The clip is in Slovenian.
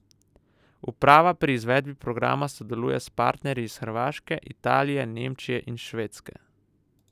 Uprava pri izvedbi programa sodeluje s partnerji iz Hrvaške, Italije, Nemčije in Švedske.